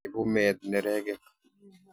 Ibu meet neregek.